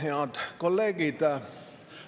Head kolleegid!